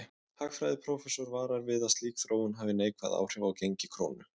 Hagfræðiprófessor varar við því að slík þróun hafi neikvæð áhrif á gengi krónu.